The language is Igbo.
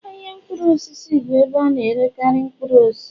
ahịa mkpụrụ osisi bụ ahịa ebe a na-erekarị mkpụrụ osisi